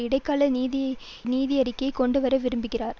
இடைக்கால நிதியறிக்கையை கொண்டு வர விரும்புகிறார்